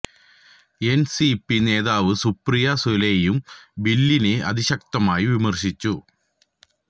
എന് C P നേതാവ് സുപ്രിയ സുലെയും ബില്ലിനെ അതിശക്തമായി വിമര്ശിച്ചു